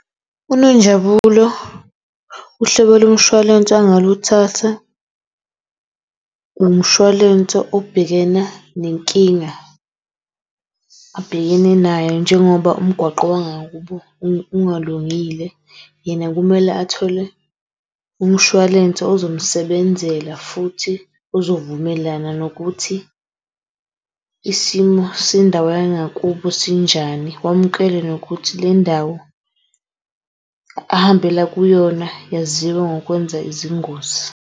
UNonjabulo uhlobo lomshwalense angaluthatha umshwalense obhekena nenkinga abhekene nayo njengoba umgwaqo wangakubo u ungalungile yena kumele athole umshwalense uzomsebenzela futhi ozovumelana nokuthi isimo sendawo yangakubo sinjani. Wamukele nokuthi le ndawo ahambela kuyona yaziwa ngokwenza izingozi.